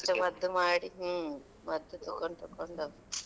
ಎಷ್ಟು ಮದ್ದು ಮಾಡಿ ಹ್ಮ್ ಮದ್ದು ತಕೊಂಡ್ ತಕೊಂಡ್,